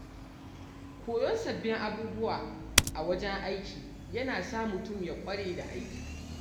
Koyon sababbin abubuwa a wajen aiki yana sa mutum ya ƙware da aiki